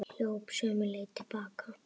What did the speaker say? Hljóp sömu leið til baka.